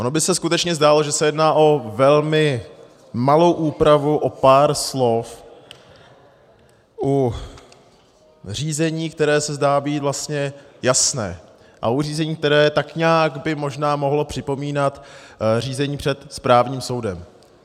Ono by se skutečně zdálo, že se jedná o velmi malou úpravu, o pár slov u řízení, které se zdá být vlastně jasné, a u řízení, které tak nějak by možná mohlo připomínat řízení před správním soudem.